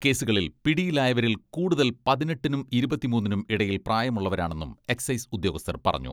കേസുകളിൽ പിടിയിലായവരിൽ കൂടുതൽ പതിനെട്ടിനും ഇരുപത്തിമൂന്നിനും ഇടയിൽ പ്രായമുള്ളവരാണെന്നും എക്സൈസ് ഉദ്യോഗസ്ഥർ പറഞ്ഞു.